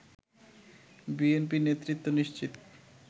BNP নেতৃত্ব নিশ্চিত